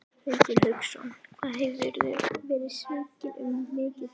Haukur Hauksson: Hvað hefurðu verið svikinn um mikið fé?